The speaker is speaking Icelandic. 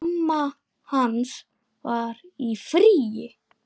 Mamma hans var í fríi.